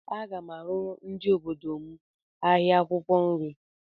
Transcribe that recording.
Aga m arụrụ ndị obodo m ahịa akwụkwọ nri